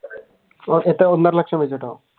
ഒന്നര ലക്ഷം രൂപ്യ